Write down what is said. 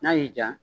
N'a y'i diya